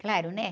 Claro, né?